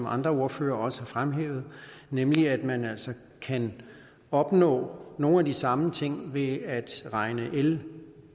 andre ordførere også har fremhævet nemlig at man kan opnå nogle af de samme ting ved at regne el